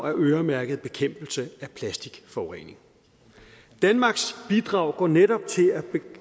øremærket bekæmpelse af plastikforurening danmarks bidrag går netop til at